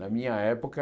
Na minha época,